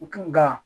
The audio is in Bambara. Nka